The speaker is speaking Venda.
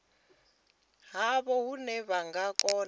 havho hune vha nga kona